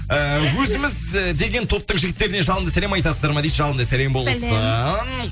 ііі өзіміз і деген топтың жігіттеріне жалынды сәлем айтасыздар ма дейді жалынды сәлем болсын